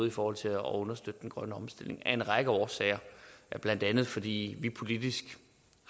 i forhold til at understøtte den grønne omstilling af en række årsager blandt andet fordi vi politisk